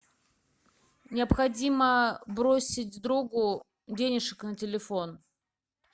необходимо бросить другу денежек на телефон